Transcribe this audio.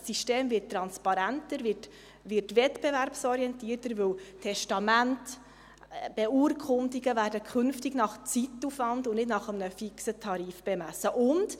Das System wird transparenter, wird wettbewerbsorientierter, weil Testamente, Beurkundungen künftig nach Zeitaufwand und nicht nach einem fixen Tarif bemessen werden.